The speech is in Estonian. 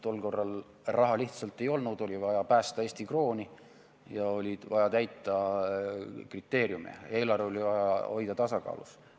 Tol korral raha lihtsalt ei olnud, oli vaja päästa Eesti krooni ja oli vaja täita kriteeriume, eelarve oli vaja hoida tasakaalus.